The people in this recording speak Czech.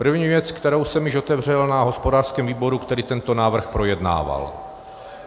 První věc, kterou jsem již otevřel na hospodářském výboru, který tento návrh projednával.